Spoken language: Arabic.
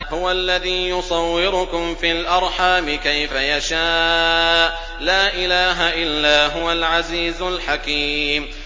هُوَ الَّذِي يُصَوِّرُكُمْ فِي الْأَرْحَامِ كَيْفَ يَشَاءُ ۚ لَا إِلَٰهَ إِلَّا هُوَ الْعَزِيزُ الْحَكِيمُ